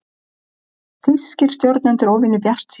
Þýskir stjórnendur óvenju bjartsýnir